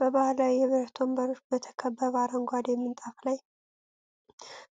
በባህላዊ የብረት ወንበሮች በተከበበ አረንጓዴ ምንጣፍ ላይ፣